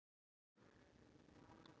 Og hann rataði alltaf.